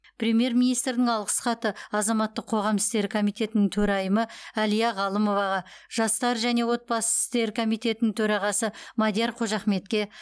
премьер министрдің алғыс хаты азаматтық қоғам істері комитетінің төрайымы әлия ғалымоваға жастар және отбасы істері комитетінің төрағасы мадияр қожахметке